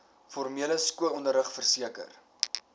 formele skoolonderrig verseker